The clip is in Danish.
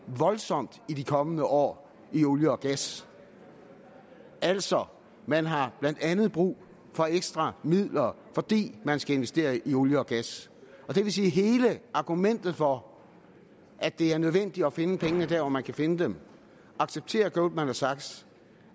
voldsomt de kommende år i olie og gas altså man har blandt andet brug for ekstra midler fordi man skal investere i olie og gas det vil sige at hele argumentet for at det er nødvendigt at finde pengene der hvor man kan finde dem acceptere goldman sachs